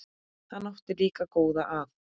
Hann átti líka góða að.